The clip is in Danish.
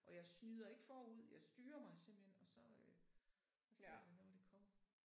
Og jeg snyder ikke forud. Jeg styrer mig simpelthen og så øh ser jeg det når det kommer